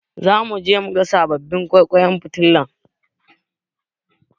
Zamu je muga sababbin ƙwaiƙwayen fitilar.